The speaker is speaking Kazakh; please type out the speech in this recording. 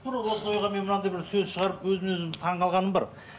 тура осы ойға мен мынандай бір сөз шығарып өзіме өзім таңғалғаным бар